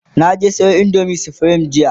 na je Sayo indomin supreme jiya